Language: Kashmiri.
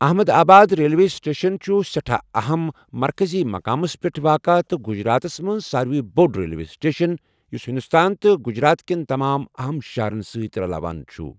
احمد آباد ریلوے سٹیشن چُھ سہٹھاہ اہم ، مركزی مقامس پیٹھ واقع تہٕ گجراتس منز سارِویہ بو٘ڈ ریلوے سٹیشن یُس ہندوستان تہٕ گجرات كین تمام اہم شہرن سٕتۍ رلاوان چُھ ۔